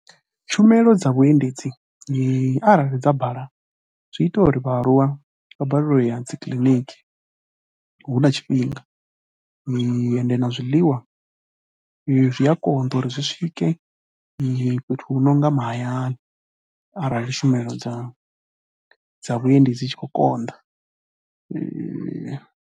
Tshumelo dza vhuendedzi arali dza bala zwi ita uri vhaaluwa vha balelwe u ya dzi kiḽiniki hu tshe na tshifhinga ende na zwiḽiwa zwi a konḓa uri zwi swike fhethu hu no nga mahayani arali tshumelo dza dza vhuendi dzi tshi khou konḓa.